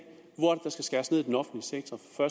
sige